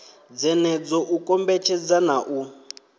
dzenedzo u kombetshedza na u